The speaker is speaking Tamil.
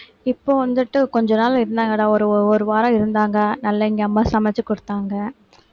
இப்போ வந்துட்டு கொஞ்ச நாள் இருந்தாங்கடா ஒரு ஒரு வாரம் இருந்தாங்க நல்லா இங்க அம்மா சமைச்சு கொடுத்தாங்க